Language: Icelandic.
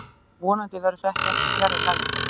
Vonandi verður þetta ekki fjarri lagi